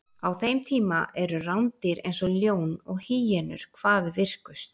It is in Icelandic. Á þeim tíma eru rándýr eins og ljón og hýenur hvað virkust.